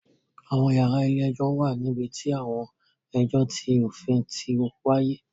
Àwọn yàrá ilé-ẹjọ̀ wà níbi tí àwọn ẹjọ ti òfin ti wáyé